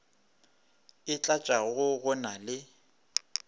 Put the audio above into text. e tlatšago go na le